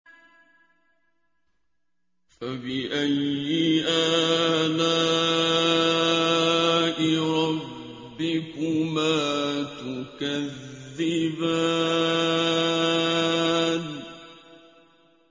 فَبِأَيِّ آلَاءِ رَبِّكُمَا تُكَذِّبَانِ